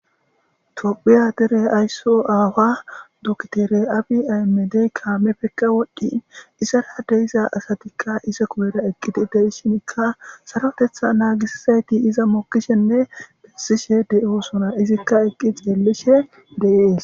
Tophiya dere aysso aawa duktere abi aymedey kaame pekka wodhdhin isarade iza asatikka ise kubera eqqidi deshinkka sarotetha naagisizayti iza mokkishenne bessishe de7o sona izikka eqqi xeellishe deees.